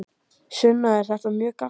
Sunna: Er þetta mjög gagnlegt?